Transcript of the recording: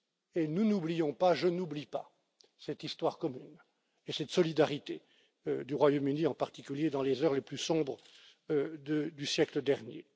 Et nous n'oublions pas, je n'oublie pas, cette histoire commune et cette solidarité du Royaume Uni, en particulier dans les heures les plus sombres du siècle dernier.